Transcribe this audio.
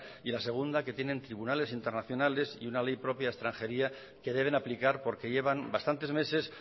y la segunda que tienen tribunales internacionales y una ley propia de extranjería que deben aplicar porque llevan bastantes meses